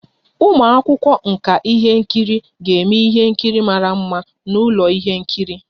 Ụmụ akwụkwọ nka ihe nkiri ga-eme ihe nkiri mara mma n'ụlọ ihe nkiri